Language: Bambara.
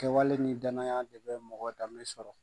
Kɛwale ni danaya de bɛ mɔgɔ danbe sɔrɔ.